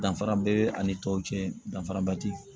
Danfara bee ani tɔw cɛ danfaraba te